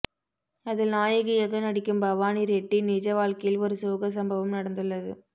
அதில் நாயகியாக நடிக்கும் பவானி ரெட்டி நிஜ வாழ்க்கையில் ஒரு சோக சம்பவம் நடந்துள்ளது